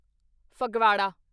Phagwara